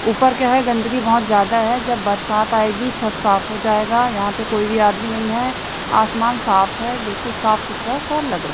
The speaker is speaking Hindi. ऊपर क्या है गंदगी बहोत ज्यादा है जब बरसात आएगी छत साफ हो जाएगा यहां पे कोई भी आदमी नहीं है आसमान साफ है बिल्कुल साफ सुथरा सा लग रहा--